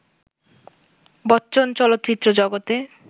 বচ্চন চলচ্চিত্র জগতে